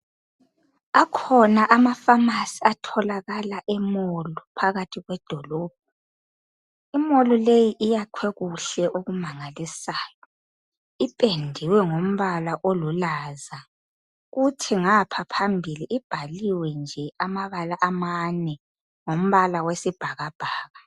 Akhona ama pharmacy atholakala e mall phakathi kwedolobho. I mall leyi iyakhwe kuhle okumangalisayo ipendiwe ngombala olulaza kuthi ngapha phambili ibhaliwe nje amabala amane ngombala wesibhakabhaka